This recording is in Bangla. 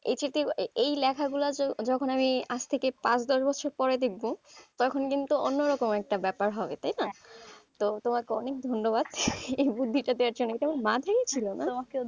এই এই লেখাগুলো যখন আমি আজ থেকে পাঁচ দশ বছর পরে দেখবো তখন কিন্তু অন্যরকম একটা ব্যাপার হবে তাই না, তো তোমাকে অনেক ধন্যবাদ এই বুদ্ধিটা দেওয়ার জন্য এটা আমার মাথায় ছিল না